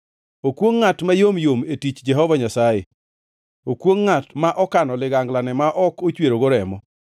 “Okwongʼ ngʼat mayom yom e tich Jehova Nyasaye! Okwongʼ ngʼat ma okano liganglane ma ok ochwerogo remo!